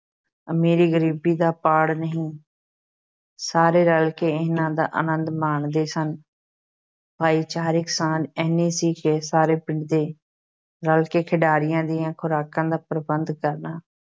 ਅਮੀਰੀ ਗ਼ਰੀਬੀ ਦਾ ਪਾੜ ਨਹੀਂ ਸਾਰੇ ਰਲ ਕੇ ਇਹਨਾਂ ਦਾ ਅਨੰਦ ਮਾਣਦੇ ਸਨ ਭਾਈਚਾਰਿਕ ਸਾਂਝ ਐਨੀ ਸੀ ਕਿ ਸਾਰੇ ਪਿੰਡ ਨੇ ਰਲ ਕੇ ਖਿਡਾਰੀਆਂ ਦੀਆਂ ਖ਼ੁਰਾਕਾਂ ਦਾ ਪ੍ਰਬੰਧ ਕਰਨਾ।